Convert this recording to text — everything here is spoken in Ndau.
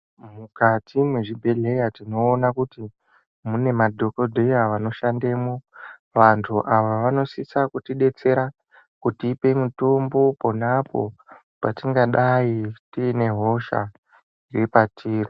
Mukati mwezvibhedhleya tinoona kuti, mune madhokodheya vanoshandemwo. Vanthu ava vanosisa kutidetsera, kutipe mitombo, pona apo patingadayi tiine hosha, iri patiri.